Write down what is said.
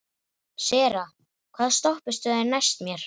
Sera, hvaða stoppistöð er næst mér?